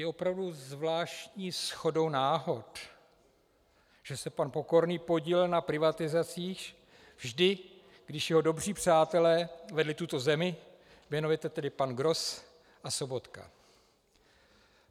Je opravdu zvláštní shodou náhod, že se pan Pokorný podílel na privatizacích vždy, když jeho dobří přátelé vedli tuto zemi, jmenovitě tedy pan Gross a Sobotka.